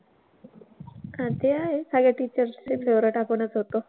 हां ते आहेच. सगळ्या teachers चे favorite आपणच होतो.